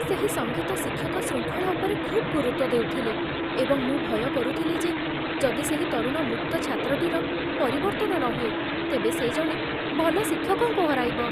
ସେହି ସଙ୍ଗୀତ ଶିକ୍ଷକ ଶୃଙ୍ଖଳା ଉପରେ ଖୁବ୍ ଗୁରୁତ୍ୱ ଦେଉଥିଲେ, ଏବଂ ମୁଁ ଭୟ କରୁଥିଲି ଯେ ଯଦି ସେହି ତରୁଣ ମୁକ୍ତ ଛାତ୍ରଟିର ପରିବର୍ତ୍ତନ ନହୁଏ, ତେବେ ସେ ଜଣେ ଭଲ ଶିକ୍ଷକଙ୍କୁ ହରାଇବ